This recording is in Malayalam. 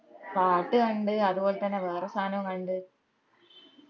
പാട്ട് കണ്ട് അത് പോലത്തെന്ന വേറെ സാധനോം കണ്ട്